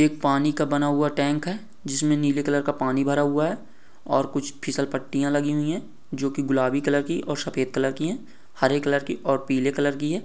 एक पानी का बना हुआ टैंक है जिसमें नीले कलर का पानी भरा हुआ है और कुछ फिसलपट्टियाँ लगी हुई हैं जो की गुलाबी कलर की और सफ़ेद कलर की और हरे कलर की और पीले कलर की है।